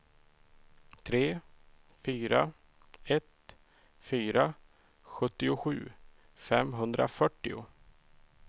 tre fyra ett fyra sjuttiosju femhundrafyrtio